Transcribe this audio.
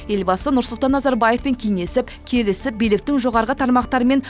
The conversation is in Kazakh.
елбасы нұрсұлтан назарбаевпен кеңесіп келісіп биліктің жоғарғы тармақтарымен